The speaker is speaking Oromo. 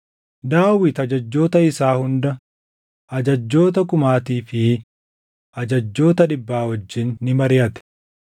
Daawit ajajjoota isaa hunda ajajjoota kumaatii fi ajajjoota dhibbaa wajjin ni mariʼate.